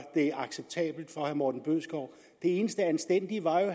det acceptabelt for herre morten bødskov det eneste anstændige var jo